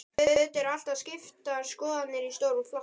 Auðvitað eru alltaf skiptar skoðanir í stórum flokki.